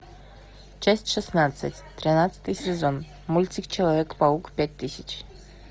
часть шестнадцать тринадцатый сезон мультик человек паук пять тысяч